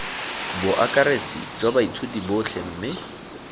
boakaretsi jwa baithuti botlhe mme